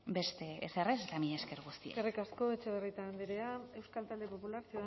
beste ezer ez eta mila esker guzioi eskerrik asko etxebarrieta andrea euskal talde popular